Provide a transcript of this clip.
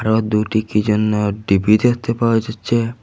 আরো দুটি কি জন্য টি_ভি দেখতে পাওয়া যাচ্ছে।